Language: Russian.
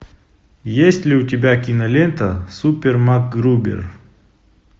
есть ли у тебя кинолента супер макгрубер